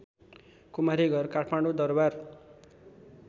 Kumari Ghar Kathmandu Darbar